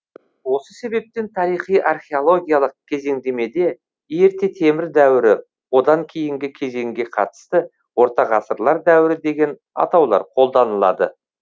осы себептен тарихи археологиялық кезеңдемеде ерте темір дәуірі одан кейінгі кезеңге қатысты орта ғасырлар дәуірі деген атаулар қолданылады